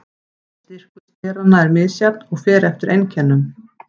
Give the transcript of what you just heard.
Styrkur steranna er misjafn og fer eftir einkennum.